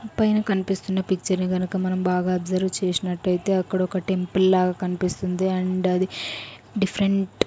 పైన కనిపిస్తున్న పిక్చర్ గనక మనం బాగా అబ్జర్వ్ చేసినట్లయితే అక్కడ ఒక టెంపుల్ లాగా కనిపిస్తుంది అండ్ అది డిఫరెంట్ .